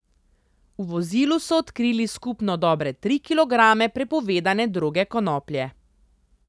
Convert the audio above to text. V vozilu so odkrili skupno dobre tri kilograme prepovedane droge konoplje.